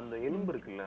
அந்த எலும்பு இருக்குல்ல